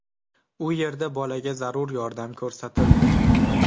U yerda bolaga zarur yordam ko‘rsatildi.